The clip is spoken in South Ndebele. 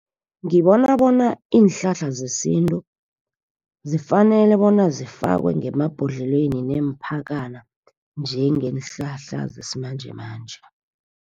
Ngibona bona iinhlahla zesintu, zifanele bona zifakwe ngemabhodlelweni neempakana njengeenhlahla zesimanjemanje.